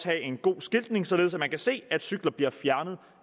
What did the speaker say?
være en god skiltning således at man kan se at cykler bliver fjernet